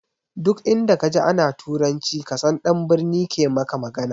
Duk inda ka ji ana turanci ka san ɗan birni ke maka magana